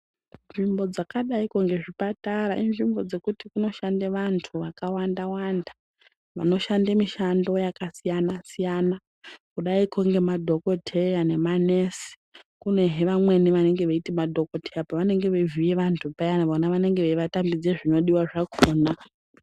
Nzvimbo dzakadaikwo ngezvipatara inzvimbo dzekuti dzinoshande vantu vakawanda wanda vanoshande mishando yakasiyana siyana kudaiko ngemadhokoteya nema nesi kunehe vamweni vanenge veiti madhokoteya pavane ge veivhiye vantu paya vona vanenge veivatambidze zvinodiwa zvakhona.